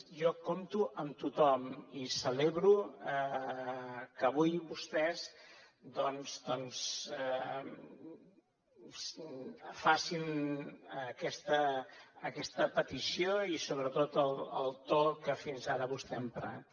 jo compto amb tothom i celebro que avui vostès doncs facin aquesta petició i sobretot el to que fins ara vostè ha emprat